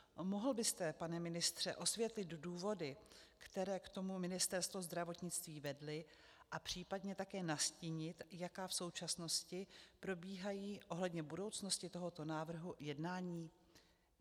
Mohl byste, pane ministře, osvětlit důvody, které k tomu Ministerstvo zdravotnictví vedly, a případně také nastínit, jaká v současnosti probíhají ohledně budoucnosti tohoto návrhu jednání?